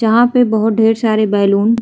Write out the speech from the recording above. जहां पे बोहो ढेर सारे बैलून --